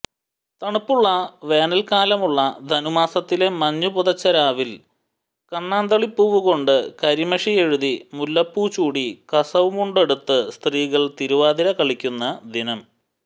തണുപ്പുള്ള വേനൽക്കാലമുള്ള ധനുമാസത്തിലെ മഞ്ഞുപുതച്ച രാവിൽ കണ്ണാന്തളിപ്പൂവുകൊണ്ട് കരിമഷിയെഴുതി മുല്ലപ്പൂ ചൂടി കസവുമുണ്ടുടുത്ത് സ്ത്രീകൾ തിരുവാതിര കളിക്കുന്ന ദിനം